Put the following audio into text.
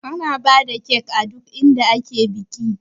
Ana bada kek a duk inda ake biki